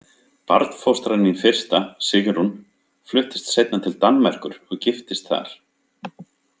Barnfóstran mín fyrsta, Sigrún, fluttist seinna til Danmerkur og giftist þar.